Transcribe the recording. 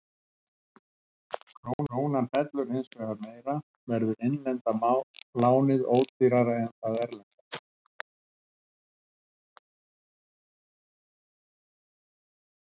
Ef krónan fellur hins vegar meira þá verður innlenda lánið ódýrara en það erlenda.